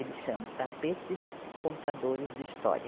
Eles chamam Tapetes Contadores de História.